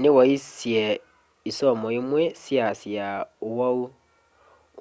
ni waisye isomo imwe syaasya uwau